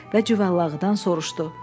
və Cüvəllağıdan soruşdu: